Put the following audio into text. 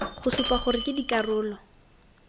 go supa gore ke dikarolo